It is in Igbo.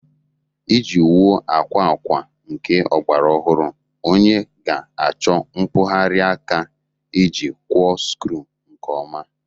Iji wuo akwa akwa nke ọgbara ọhụrụ, onye ga-achọ mkpụgharị aka iji kwọọ skru nke ọma